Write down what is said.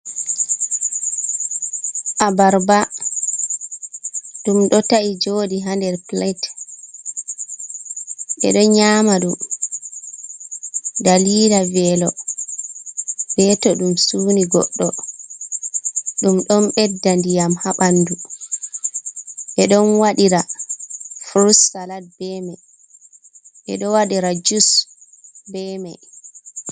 Abarba, ɗum ɗo ta’i joɗi ha nder pilet ɓe ɗon nyaama ɗum dalila welo, be to ɗum suni goɗɗo. Ɗum ɗon ɓedda ndiyam ha ɓandu. Ɓe ɗon waɗira furut salat be mai, ɓeɗo waɗira jus be mai.